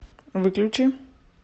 выключи